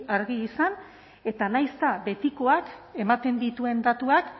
argi izan eta nahiz eta betikoak ematen dituen datuak